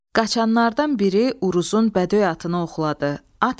Qaşanlardan biri Uruzun bədöy atına oxladı.